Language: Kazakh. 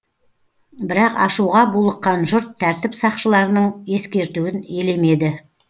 бірақ ашуға булыққан жұрт тәртіп сақшыларының ескертуін елемеді